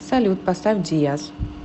салют поставь диаз